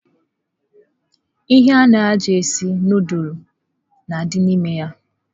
Ihe ana eji esi nudulu na adị n'ime ya.